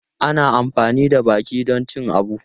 Ana amfani da baki don cin abu.